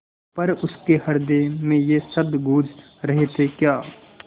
पर उसके हृदय में ये शब्द गूँज रहे थेक्या